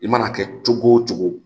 I mana kɛ cogo o cogo